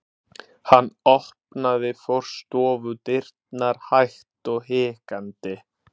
Hann opnaði forstofudyrnar hægt og hikandi.